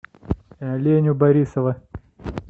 леню борисова